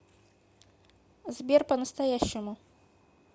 сбер по настоящему